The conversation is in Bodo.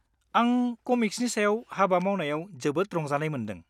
-आं कमिक्सनि सायाव हाबा मावनायाव जोबोद रंजानाय मोन्दों।